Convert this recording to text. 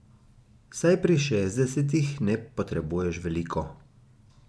Saj pri šestdesetih ne potrebuješ veliko.